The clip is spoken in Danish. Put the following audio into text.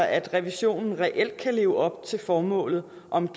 at revisionen reelt kan leve op til formålet om